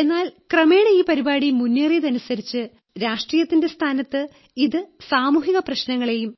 എന്നാൽ ക്രമേണ ഈ പരിപാടി മുന്നേറിയതിനനുസരിച്ച് രാഷ്ട്രീയതതിന്റെ സ്ഥാനത്ത് ഇത് സമൂഹിക പ്രശ്നങ്ങളെയും